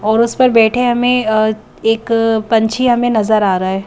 और उस पर बैठे हमें एक पंछी हमें नजर आ रहा है ।